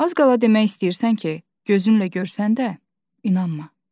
Az qala demək istəyirsən ki, gözünlə görsən də, inanma.